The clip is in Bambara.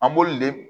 An b'olu le